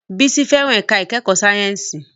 Bisola fẹ́ràn ẹ̀ka ìkẹ́kọ̀ọ́ sáyẹ́ǹsì